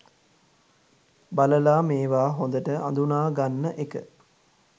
බලලා මේවා හොඳට අඳුනා ගන්න එක